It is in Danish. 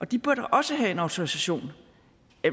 de bør da også have en autorisation